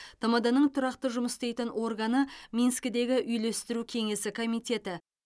тмд ның тұрақты жұмыс істейтін органы минскідегі үйлестіру кеңесі комитеті